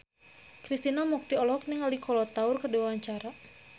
Krishna Mukti olohok ningali Kolo Taure keur diwawancara